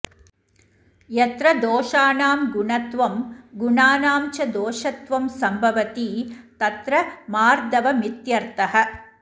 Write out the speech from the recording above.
यत्र दोषाणां गुणत्वं गुणानां च दोषत्वं सम्भवति तत्र मार्दवमित्यर्थः